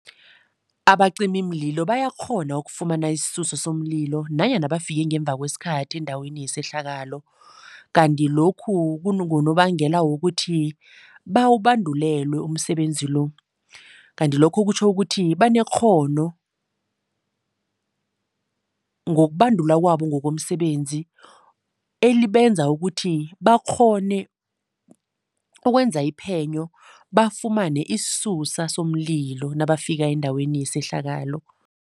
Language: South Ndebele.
Abacimimlilo bayakghona ukufumana isisusa somlilo nanyana bafike ngemva kwesikhathi endaweni yesehlakalo. Kanti lokhu kungonobangela wokuthi bawubandulelwe umsebenzi lo. Kanti lokho kutjho ukuthi banekghono ngokubandulwa kwabo ngokomsebenzi, elibenza ukuthi bakghone ukwenza iphenyo bafumane isisusa somlilo nabafika endaweni yesehlakalo.